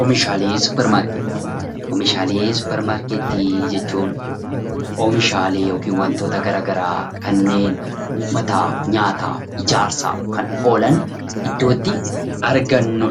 Oomishaalee suppermaarketti Oomishaalee suppermaarkettii jechuun oomishaalee yookiin wantoota garagaraa kanneen uffataaf, nyaataaf, ijaarsaaf kan oolan iddoo itti argannu dha.